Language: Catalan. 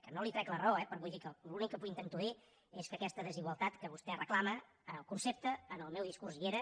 que no li trec la raó eh però vull dir l’únic que intento dir és que aquesta des igualtat que vostè reclama el concepte en el meu discurs hi era